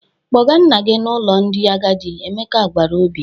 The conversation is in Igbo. "Kpọga nna gị n'ụlọ ndị agadi," Emeka gwara Obi.